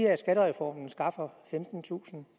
at skattereformen skaffer femtentusind